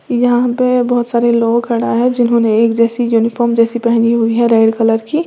यहां पे बहुत सारे लोग खड़ा है जिन्होंने एक जैसी यूनिफॉर्म जैसी पहनी हुई है रेड कलर की।